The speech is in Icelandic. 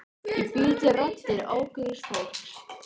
Ég bý til raddir ókunnugs fólks.